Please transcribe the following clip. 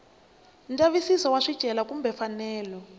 ndzavisiso wa swicelwa kumbe mfanelo